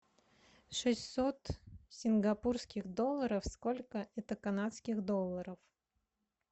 шестьсот сингапурских долларов сколько это канадских долларов